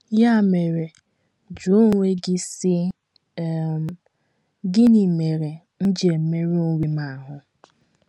Ya mere, jụọ onwe gị, sị: um ‘ Gịnị mere m ji emerụ onwe m ahụ́?